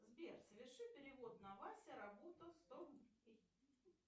сбер соверши перевод на вася работа сто рублей